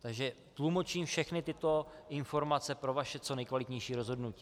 Takže tlumočím všechny tyto informace pro vaše co nejkvalitnější rozhodnutí.